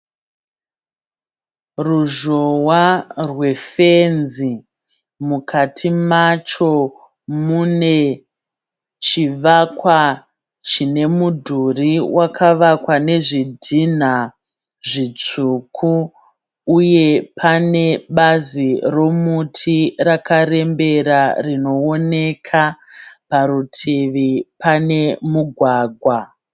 Ruzhowa rwe fenzi. Mukati macho mune chivakwa chine mudhurii wakavakwa nezvidhinha zvitsvuku . Uye pane bazi romuti rakarembera rinooneka. Parutivi pane mugwagwa.